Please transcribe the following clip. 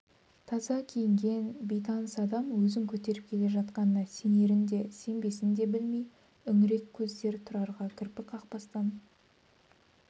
таза киінген бейтаныс адам өзін көтеріп келе жатқанына сенерін де сенбесін де білмей үңірек көздер тұрарға кірпік қақпастан